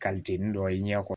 dɔ i ɲɛ kɔrɔ